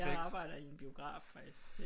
Jeg arbejder i en biograf faktisk